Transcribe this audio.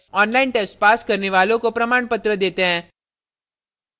online test pass करने वालों को प्रमाणपत्र देते हैं